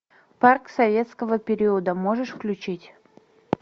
парк советского периода можешь включить